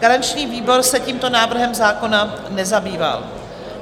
Garanční výbor se tímto návrhem zákona nezabýval.